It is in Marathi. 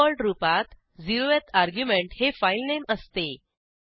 डिफॉल्ट रूपात 0थ शून्य क्रमांकाचे अर्ग्युमेंट हे फाईलनेम असते